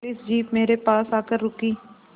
police jeep मेरे पास आकर रुकी